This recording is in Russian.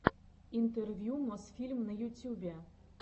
интервью мосфильм на ютюбе